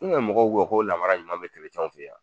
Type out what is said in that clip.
N ŋa mɔgɔw ko ko laramara ɲuman bɛ w fe yan